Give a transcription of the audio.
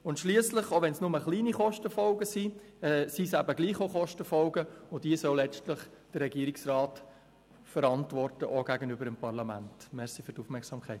Auch wenn es nur geringe Kostenfolgen sind, soll letztlich der Regierungsrat gegenüber dem Parlament diese Kosten verantworten.